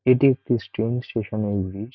এটি একটি train station -এর ব্রিজ ।